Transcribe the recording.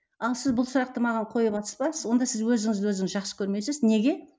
ал сіз бұл сұрақты маған қойыватырсыз ба онда сіз өзіңізді өзіңіз жақсы көрмейсіз неге